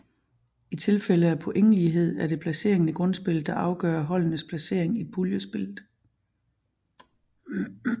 I tilfælde af pointlighed er det placeringen i grundspillet der afgøre holdenes placering i puljespillet